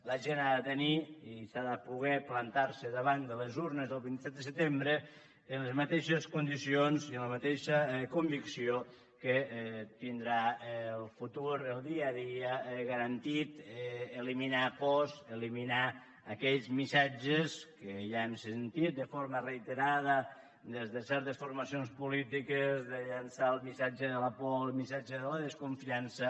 la gent ha de tenir i ha de poder plantar se davant de les urnes el vint set de setembre en les mateixes condicions i amb la mateixa convicció que tindrà el futur el dia a dia garantit eliminar pors eliminar aquells missatges que ja hem sentit de forma reiterada des de certes formacions polítiques de llençar el missatge de la por el missatge de la desconfiança